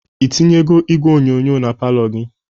Ị tinyego igwe onyonyo na palọ gi?